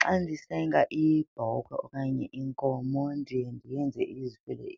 Xa ndisenga ibhokhwe okanye inkomo ndiye ndiyenze izive,